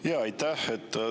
Jaa, aitäh!